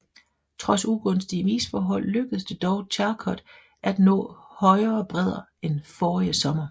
Trods ugunstige isforhold lykkedes det dog Charcot at nå højere bredder end forrige sommer